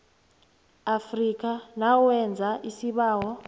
afrika nawenza isibawo